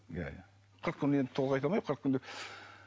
иә иә қырық күн енді толық айта алмаймын қырық күн деп